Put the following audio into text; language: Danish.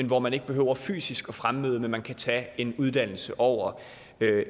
hvor man ikke behøver fysisk fremmøde men hvor man kan tage en uddannelse over